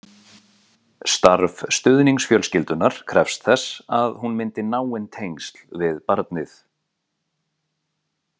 Starf stuðningsfjölskyldunnar krefst þess að hún myndi náin tengsl við barnið.